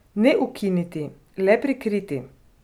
Ne ukiniti, le prikriti.